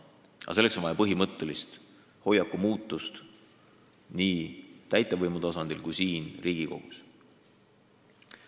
Aga selleks on vaja põhimõttelist hoiaku muutust nii täitevvõimu tasandil kui siin Riigikogus.